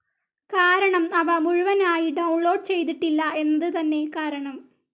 കാരണം അവ മുഴുവനായി ഡൌൺ ലോഡ്‌ ചെയ്തിട്ടില്ല എന്നത് തന്നെ കാരണം.